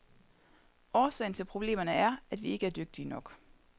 Årsagen til problemerne er, at vi ikke er dygtige nok.